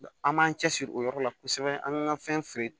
An m'an cɛsiri o yɔrɔ la kosɛbɛ an ŋan fɛn feere